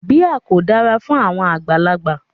Beer ko dara fun awọn agbalagba